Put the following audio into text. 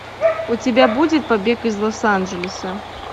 у тебя будет побег из лос анджелеса